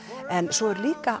svo er líka